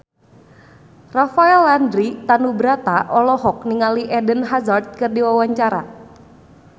Rafael Landry Tanubrata olohok ningali Eden Hazard keur diwawancara